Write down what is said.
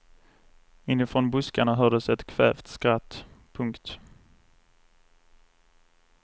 Inifrån buskarna hördes ett kvävt skratt. punkt